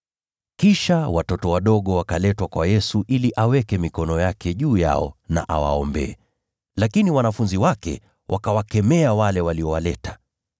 Kisha watoto wadogo wakaletwa kwa Yesu ili aweke mikono yake juu yao na awaombee. Lakini wanafunzi wake wakawakemea wale waliowaleta.